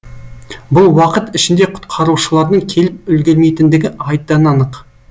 бұл уақыт ішінде құтқарушылардың келіп үлгермейтіндігі айдан анық